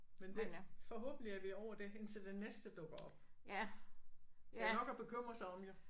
Men det forhåbentlig er vi ovre det indtil det næste dukker op. Der er nok at bekymre sig om jo